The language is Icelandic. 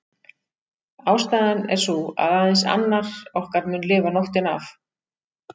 Ástæðan er sú að aðeins annar okkar mun lifa nóttina af.